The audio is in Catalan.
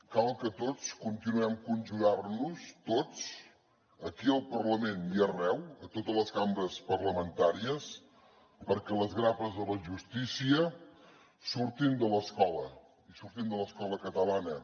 cal que tots continuem conjurant nos tots aquí al parlament i arreu a totes les cambres parlamentàries perquè les grapes de la justícia surtin de l’escola i surtin de l’escola catalana